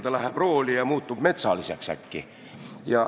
Ta läheb rooli ja muutub äkki metsaliseks.